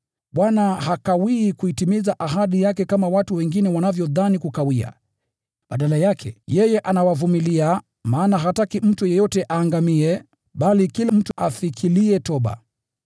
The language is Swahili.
Bwana hakawii kuitimiza ahadi yake, kama watu wengine wanavyokudhani kukawia. Badala yake, yeye anawavumilia ninyi, maana hataki mtu yeyote aangamie, bali kila mtu afikilie toba.